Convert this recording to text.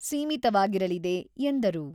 ಸೀಮಿತವಾಗಿರಲಿದೆ" ಎಂದರು